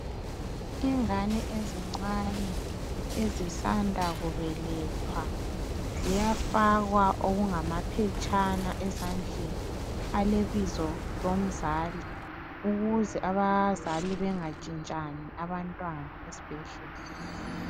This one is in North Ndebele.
Ingane ezincane ezisanda kubelethwa ziyafakwa okungamphetshana ezandleni alebizo lomzali, ukuze abazali bangatshintshani abantwana esibhedlela.